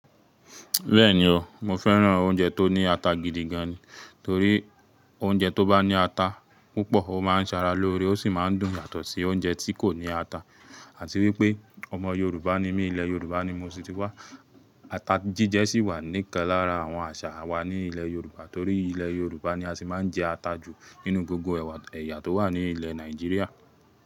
Bẹ́ẹ̀ni o, mo fẹ́ràn oúnjẹ tó ní ata gidi gan ni, torí oúnjẹ tó bá ní ata púpọ̀ ó máa ń sara lóore ó sì máa ń dùn yàtọ̀ sí oúnjẹ tí kò ní ata. Àti wípé ọmọ Yorùbá ni mí, ilẹ̀ Yorùbá ni mo sì ti wá, ata jíjẹ sì wà níkan lára àwọn àṣà wa ní ilẹ̀ Yorùbá torí ilẹ̀ Yorùbá ni a sì máa ń jẹ ata jù nínú gbogbo ẹ̀yà tó wà ní ilẹ̀ Nàìjíríà.